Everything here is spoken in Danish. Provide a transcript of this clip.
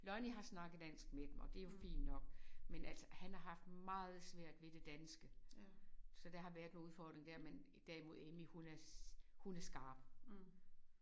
Lonnie har snakket dansk med dem og det jo fint nok men altså han har haft meget svært ved det danske så der har været noget udfordring der men derimod Emmy hun er hun er skarp